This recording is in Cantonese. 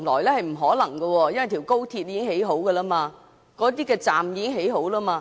這是不可能的，因為高鐵和高鐵的車站已完成興建。